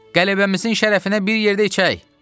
Qələbəmizin şərəfinə bir yerdə içək.